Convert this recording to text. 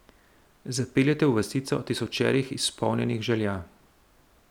Zapelje te v vasico tisočerih izpolnjenih želja.